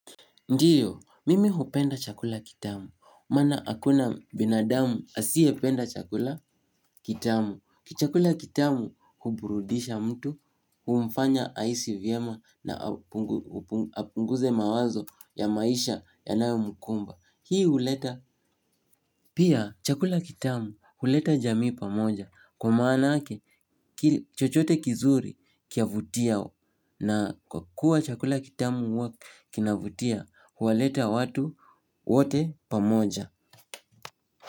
Ndiyo, mimi hupenda chakula kitamu, maana hakuna binadamu asiyependa chakula kitamu. Chakula kitamu huburudisha mtu, humfanya ahisi vyema na apunguze mawazo ya maisha yanayomkumba. Hii huleta. Pia, chakula kitamu huleta jamii pamoja. Kwa maanake, chochote kizuri kiavutia. Na kwa kuwa chakula kitamu huwa kinavutia huwaleta watu wote pamoja.